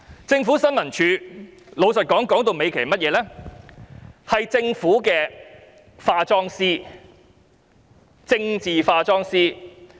政府新聞處其實是政府的化妝師，即政治化妝師。